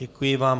Děkuji vám.